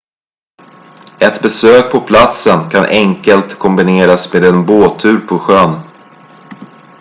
ett besök på platsen kan enkelt kombineras med en båttur på sjön